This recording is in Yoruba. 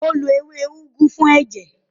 Ó lo ewé úgú fún ẹ̀jẹ̀.